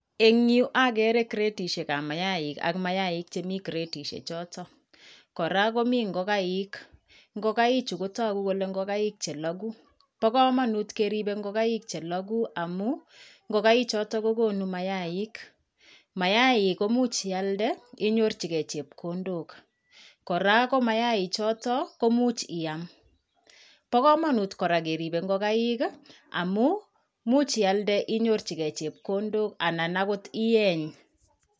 Eng yuu okeree gredishekab mayaik ak mayaik chemii gredishe choton, kora komii ng'okaik, ng'okaichu kotokuu kelee ng'okaik chelokuu, bokomonut keribe ng'okaik chelokuu amun ngo'kai choton kokonuu mayaik, mayaik koimuch ialdee inyorchikee chepkondok, kora ko mayaik choton koimuch iyam, bokomonut kora keribe ng'okaik i amun imuch ialde inyorchikee chepkondok anan akot iyeeny.